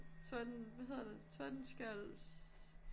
Torden hvad hedder det? Tordenskjolds?